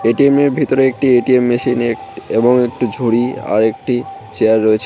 ATM এর ভেতরে একটি এ_টি_এম মেশিন এক এবং একটি ঝুড়ি আর একটি চেয়ার রয়েছে।